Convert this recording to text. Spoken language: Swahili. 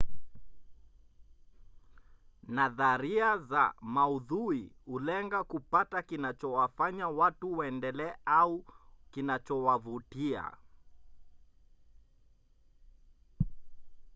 nadharia za maudhui hulenga kupata kinachowafanya watu waendelee au kinachowavutia